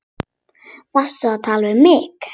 Varstu að tala við mig?